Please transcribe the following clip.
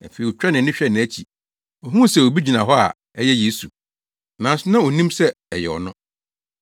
Afei otwaa nʼani hwɛɛ nʼakyi na ohuu sɛ obi gyina hɔ a ɛyɛ Yesu, nanso na onnim sɛ ɛyɛ ɔno.